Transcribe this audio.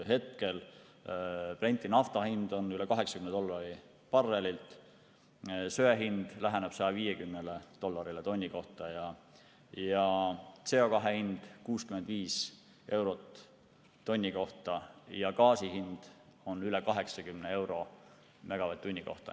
Hetkel on Brenti nafta hind üle 80 dollari barrelilt, söe hind läheneb 150 dollarile tonni kohta, CO2 hind on 65 eurot tonni kohta ja gaasi hind on üle 80 euro megavatt-tunni kohta.